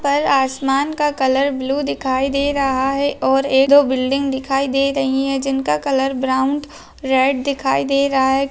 ऊपर आसमान का कलर ब्लू दिखाई दे रहा है और एक दो बिल्डिंग दिखाई दे रही है जिनका कलर ब्राउन रेड दिखाई दे रहा है।